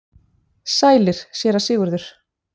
Sælir, Séra Sigurður!